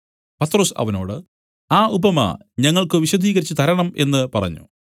പത്രൊസ് അവനോട് ആ ഉപമ ഞങ്ങൾക്കു വിശദീകരിച്ച് തരണം എന്നു പറഞ്ഞു